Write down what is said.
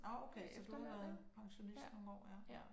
Nåh okay så du har været pensionist nogle år ja